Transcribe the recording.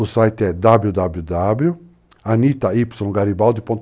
O site é www.anittaygaribaldi.com.